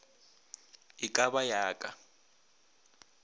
e ka ba ya ka